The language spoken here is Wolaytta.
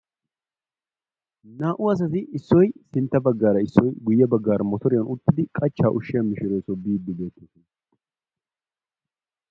Naa"u asati issoy sintta baggaara issoy guye baggaara mottoriyan uttidi qachchaa ushiya mishshireeso biidi bettoosona.